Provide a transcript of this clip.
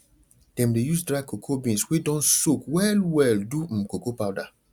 dem dey use dry cocoa beans wey don soak wellwell do um cocoa powder